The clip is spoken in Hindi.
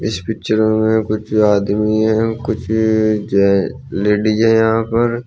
इस पिक्चर में कुछ आदमी हैं कुछ जे लेडिस हैं यहां पर।